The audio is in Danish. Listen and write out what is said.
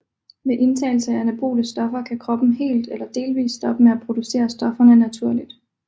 Ved indtagelse af anabole stoffer kan kroppen helt eller delvist stoppe med at producere stofferne naturligt